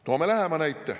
Toome näite lähemalt.